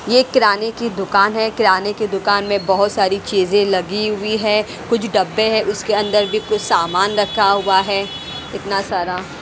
ये किराने की दुकान है किराने की दुकान में बहोत सारी चीज लगी हुई है कुछ डब्बे है उसके अंदर भी कुछ सामान रखा हुआ है इतना सारा --